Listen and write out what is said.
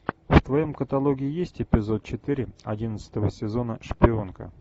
в твоем каталоге есть эпизод четыре одиннадцатого сезона шпионка